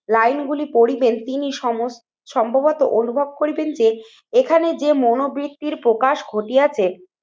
line গুলি পড়িবেন তিনি সময় সম্ভবত অনুভব করিবেন যে এখানে যে মনোবৃত্তির প্রকাশ ঘটিয়েছে